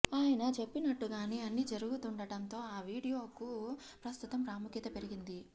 ఆయన చెప్పినట్టుగానే అన్ని జరుగుతుండటంతో ఆ వీడియోకు ప్రస్తుతం ప్రాముఖ్యత పెరిగింది